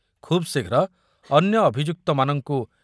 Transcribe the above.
ଖୁବ୍ ଶୀଘ୍ର ଅନ୍ୟ ଅଭିଯୁକ୍ତମାନଙ୍କୁ